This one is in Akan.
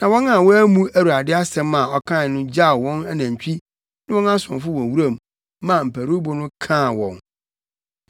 Na wɔn a wɔammu Awurade asɛm a ɔkae no gyaw wɔn anantwi ne wɔn asomfo wɔ wuram maa mparuwbo no kaa wɔn.